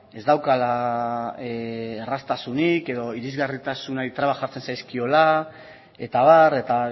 ez daukala erraztasunik edo irisgarritasunari trabak jartzen zaizkiola eta abar eta